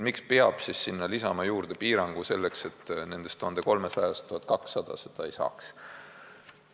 Miks peab siis sinna lisama juurde piirangu selleks, et nendest 1300 lapsest 1200 seda ei saaks?